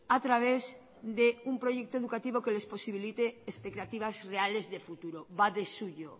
a través de un proyecto educativo que les posibilite expectativas reales de futuro va de suyo